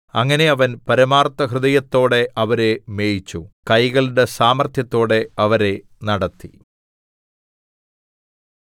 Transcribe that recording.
അങ്ങനെ അവൻ പരമാർത്ഥ ഹൃദയത്തോടെ അവരെ മേയിച്ചു കൈകളുടെ സാമർത്ഥ്യത്തോടെ അവരെ നടത്തി